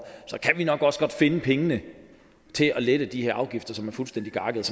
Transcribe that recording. så kan vi nok også godt finde pengene til at lette de her afgifter som er fuldstændig gakkede